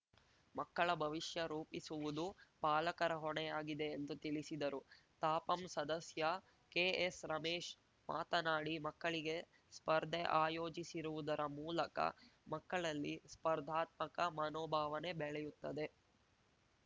ಮಕ್ಕಳ ಭವಿಷ್ಯ ರೂಪಿಸಿವುದು ಪಾಲಕರ ಹೊಣೆಯಾಗಿದೆ ಎಂದು ತಿಳಿಸಿದರು ತಾಪಂ ಸದಸ್ಯ ಕೆಎಸ್‌ರಮೇಶ್‌ ಮಾತನಾಡಿ ಮಕ್ಕಳಿಗೆ ಸ್ಪರ್ದೆ ಆಯೋಜಿಸಿರುವುದರ ಮೂಲಕ ಮಕ್ಕಳಲ್ಲಿ ಸ್ಪರ್ಧಾತ್ಮಕ ಮನೋಭಾವನೆ ಬೆಳೆಯುತ್ತದೆ